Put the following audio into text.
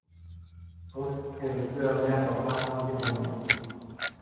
Fólk hefur skrifað mér frá Frakklandi og Japan.